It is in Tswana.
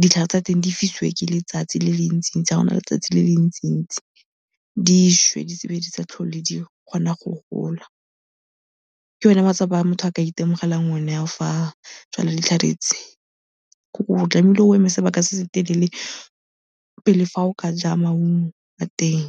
ditlhare tsa teng di fisiwe ke letsatsi le le ntsintsi fa go na le letsatsi le le ntsintsi di swe, di be di sa tlhole di kgona go gola. Ke one matsapa motho a ka itemogelang o ne ao fa a jwala ditlhare tse. O tlame'ile o eme sebaka se se telele pele fa o ka ja maungo a teng.